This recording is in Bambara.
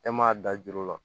E m'a da juru la